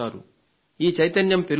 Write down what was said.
ఈ చైతన్యం పెరుగుతోంది